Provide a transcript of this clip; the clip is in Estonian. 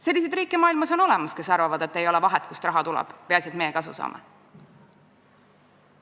Selliseid riike on maailmas olemas, kes arvavad, et ei ole vahet, kust raha tuleb, peaasi, et meie kasu saame.